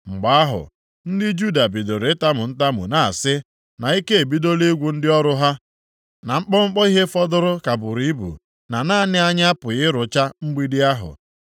Mgbe ahụ, ndị Juda bidoro itamu ntamu na-asị, na ike ebidola ịgwụ ndị ọrụ ha, na mkpọmkpọ ihe fọdụrụ ka buru ibu, na naanị anyị apụghị ịrụcha mgbidi ahụ.